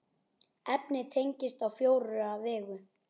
Efnið teygist á fjóra vegu.